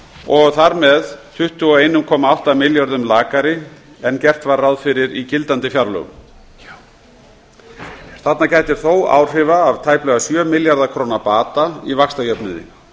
og þar með tuttugu og einn komma átta milljörðum lakari en gert var ráð fyrir í gildandi fjárlögum þarna gætir þó áhrifa af tæplega sjö milljarða króna bata í vaxtajöfnuði